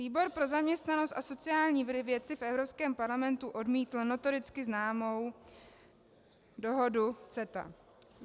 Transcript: Výbor pro zaměstnanost a sociální věci v Evropském parlamentu odmítl notoricky známou dohodu CETA.